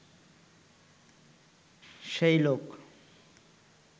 সেই লোক